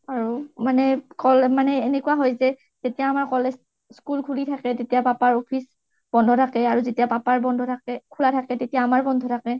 মানে এনেকুৱা হৈ যাই যে, যেতিয়া আমাৰ college school খুলি থাকে তেতিয়া papa ৰ office বন্ধ থাকে আৰু যেতিয়া papa ৰ office খুলা বন্ধ থাকে খুলা থাকে তেতিয়া আমাৰ বন্ধ থাকে